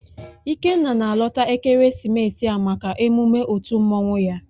Ikenna na-alọta ekeresimesi a maka emume otu mmanwụ ya